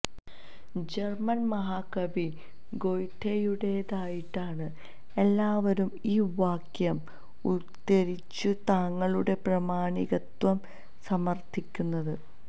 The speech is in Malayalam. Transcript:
ജർമൻ മഹാകവി ഗൊയ്ഥെയുടേതായിട്ടാണ് എല്ലാവരും ഈ വാക്യം ഉദ്ധരിച്ചു തങ്ങളുടെ പ്രാമാണികത്വം സമർത്ഥിക്കുന്നത്